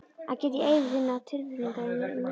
Að geta í eyður þinna tilfinninga er mér um megn.